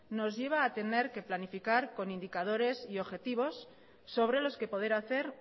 nos lleva a tener que planificar con indicadores y objetivos sobre los que poder hacer